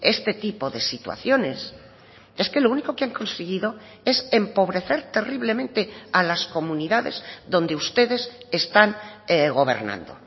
este tipo de situaciones es que lo único que han conseguido es empobrecer terriblemente a las comunidades donde ustedes están gobernando